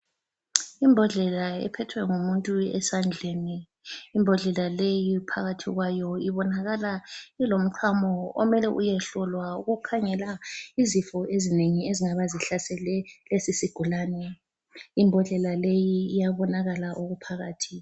Imbodlela ephethwe ngumuntu esandleni. Imbodlela leyi phakathi kwayo ibonakala ilomchamo omele uyehlolwa ukukhangela izifo ezinengi ezingaba zihlasele lesisigulane. Imbodlela leyi iyabonakala okuphakathi.